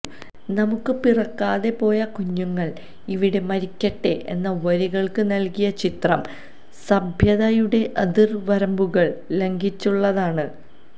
നമുക്ക് പിറക്കാതെ പോയ കുഞ്ഞുങ്ങൾ ഇവിടെ മരിക്കട്ടെ എന്ന വരികൾക്ക് നൽകിയ ചിത്രം സഭ്യതയുടെ അതിർവരമ്പുകൾ ലംഘിച്ചുള്ളതാണ്